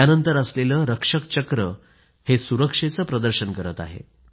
यानंतर असलेलं रक्षक चक्र सुरक्षेचं प्रतिबिंब करत आहे